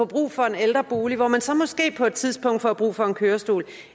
brug for en ældrebolig hvor man så måske på et tidspunkt får brug for en kørestol